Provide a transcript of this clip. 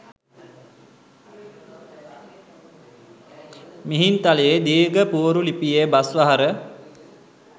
මිහින්තලේ දීර්ඝ පුවරු ලිපියේ බස් වහර